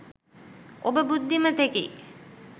ඔබ බුද්ධිමතෙකි.